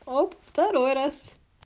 оп второй раз